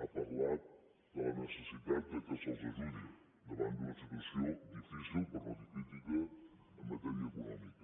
ha parlat de la necessitat que se’ls ajudi davant d’una situació difícil per no dir crítica en matèria econòmica